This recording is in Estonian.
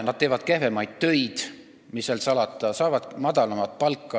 Nad teevad kehvemaid töid ja mis seal salata, saavad ka madalamat palka.